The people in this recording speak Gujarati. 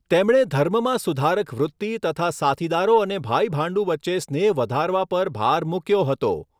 તેમણે ધર્મમાં સુધારક વૃતિ તથા સાથીદારો અને ભાઈભાંડું વચ્ચે સ્નેહ વધારવા પર ભાર મૂક્યો હતો.